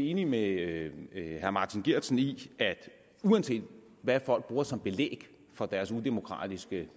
enig med herre martin geertsen i at uanset hvad folk bruger som belæg for deres udemokratiske